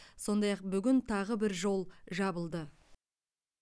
сондай ақ бүгін тағы бір жол жабылды